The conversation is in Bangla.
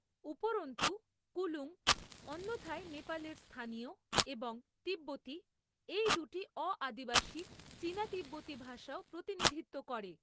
উপরন্তু, কুলুং অন্যথায় নেপালের স্থানীয় এবং তিব্বতি, এই দুটি অ আদিবাসী চীনা তিব্বতি ভাষাও প্রতিনিধিত্ব করে।